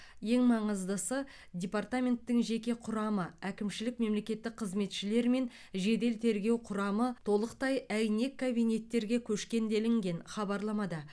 ең маңыздысы департаменттің жеке құрамы әкімшілік мемлекеттік қызметшілер мен жедел тергеу құрамы толықтай әйнек кабинеттерге көшкен делінген хабарламада